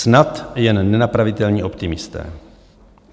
Snad jen nenapravitelní optimisté.